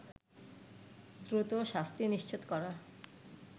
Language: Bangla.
দ্রুত শাস্তি নিশ্চিত করা